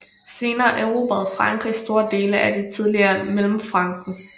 Senere erobrede Frankrig store dele af det tidligere Mellemfranken